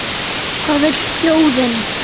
Hvað vill þjóðin?